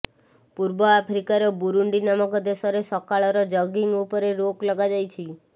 ପୂର୍ବ ଆଫ୍ରିକାର ବୁରୁଣ୍ଡି ନାମକ ଦେଶରେ ସକାଳର ଜଗିଙ୍ଗ୍ ଉପରେ ରୋକ ଲଗାଯାଇଛି